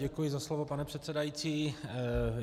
Děkuji za slovo, pane předsedající.